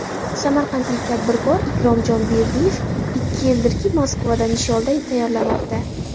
Samarqandlik tadbirkor Ikromjon Berdiyev ikkinchi yildirki Moskvada nisholda tayyorlamoqda.